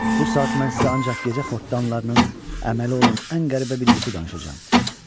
Bu saat mən sizə ancaq gecə xortdanlarının əməli olan ən qəribə bir yuxu danışacam.